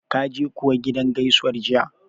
Kaje kuwa gidan gaisuwar jiya?